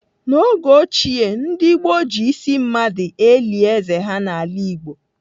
N'oge ochie ndị gboo ji ísí mmadụ eli êzé ha n'ala Igbo.